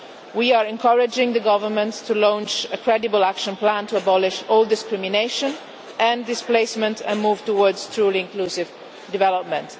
We are encouraging the Government to launch a credible action plan to abolish all discrimination and displacement and to move towards truly inclusive development.